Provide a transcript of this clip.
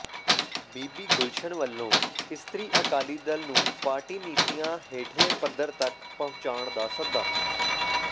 ਬੀਬੀ ਗੁਲਸ਼ਨ ਵੱਲੋਂ ਇਸਤਰੀ ਅਕਾਲੀ ਦਲ ਨੂੰ ਪਾਰਟੀ ਨੀਤੀਆਂ ਹੇਠਲੇ ਪੱਧਰ ਤੱਕ ਪਹੁੰਚਾਉਣ ਦਾ ਸੱਦਾ